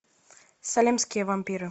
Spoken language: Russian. салемские вампиры